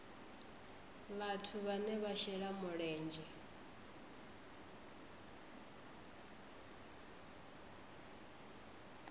vhathu vhane vha shela mulenzhe